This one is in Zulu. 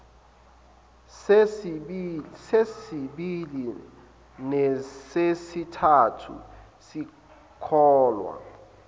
sesibili nesesithathu sikholwa